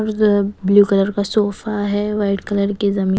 और blue colour का sofa है व्हाईट कलर की जमी--